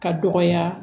Ka dɔgɔya